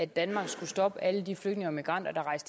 danmark så snart